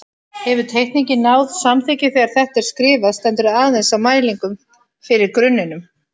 Hefur teikningin náð samþykki og þegar þetta er skrifað stendur aðeins á mælingum fyrir grunninum.